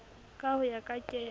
ka ho ya ka kelo